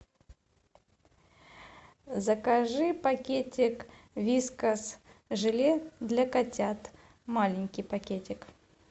закажи пакетик вискас желе для котят маленький пакетик